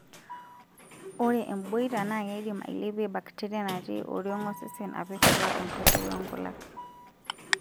Ore emboita naa keidim ailepie bakteria natii oriong' osesen apik atua enkoitoi oonkulak.